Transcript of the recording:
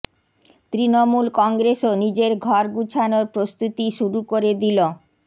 তৃণমূল কংগ্রেসও নিজের ঘর গুছানোর প্রস্তুতি শুরু করে দিল